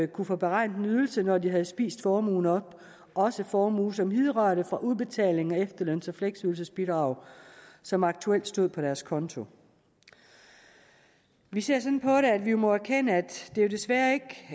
kunne få beregnet en ydelse når de havde spist formuen op også formue som hidrørte fra udbetaling af efterløns og fleksydelsesbidrag som aktuelt stod på deres konto vi ser sådan på det at vi må erkende at det jo desværre ikke